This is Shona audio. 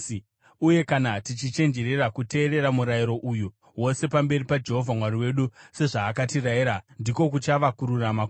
Uye kana tichichenjerera kuteerera murayiro uyu wose pamberi paJehovha Mwari wedu, sezvaakatirayira, ndiko kuchava kururama kwedu.”